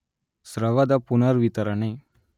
ಸ್ರವದ ಪುನರ್ವಿತರಣೆ